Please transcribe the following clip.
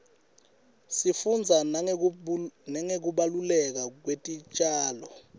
sifundza nangekubaluleka kwetitjalo